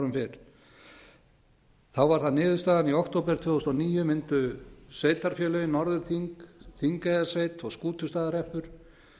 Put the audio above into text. fyrr þá var það niðurstaðan í október tvö þúsund og níu mundu sveitarfélögin norðurþing þingeyjarsveit og skútustaðahreppur